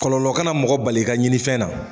Kɔlɔlɔ kana mɔgɔ bali ka ɲini fɛn na.